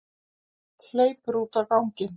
Hleypur út á ganginn.